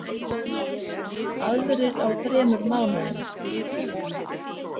Aðrir á þremur mánuðum.